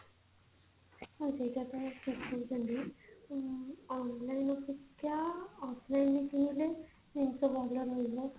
ହଁ ସେଇଟା ତ ଠିକ କହୁଛନ୍ତି ଊଁ online ଅପେକ୍ଷା offline ରେ କିଣିଲେ ଜିନିଷ ଭଲ ରହିବ